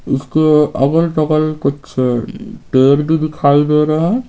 उसके अगल बगल कुछ पेड़ भी दिखाई दे रहे हैं।